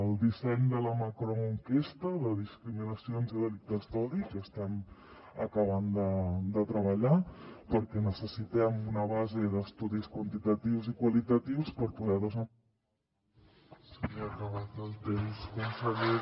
el disseny de la macroenquesta de discriminacions i delictes d’odi que estem acabant de treballar perquè necessitem una base d’estudis quantitatius i qualitatius per poder